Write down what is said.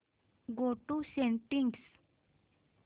go to settings